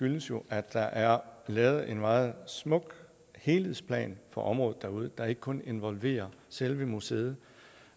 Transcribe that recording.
jo at der er lavet en meget smuk helhedsplan for området derude der ikke kun involverer selve museet